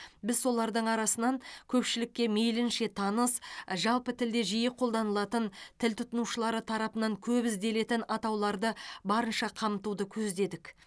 біз солардың арасынан көпшілікке мейлінше таныс жалпы тілде жиі қолданылатын тіл тұтынушылары тарапынан көп ізделетін атауларды барынша қамтуды көздедік